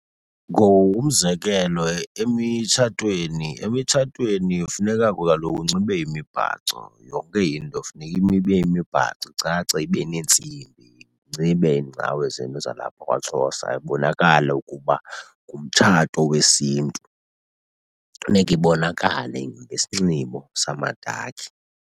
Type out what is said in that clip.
Umzekelo emitshatweni, emitshatweni funeka kaloku unxibe imibhaco. Yonke into funeka ibe yimibhaco, icace, ibe neentsimbi. Ninxibe iingcawe zenu zalapha kwaXhosa, ibonakale ukuba ngumtshato wesiNtu. Funeka ibonakale ngesinxibo samamadakhi.